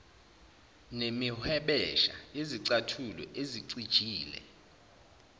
nemihwebesha yezicathulo ezicijile